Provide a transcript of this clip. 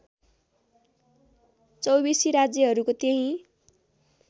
चौबीसी राज्यहरूको त्यही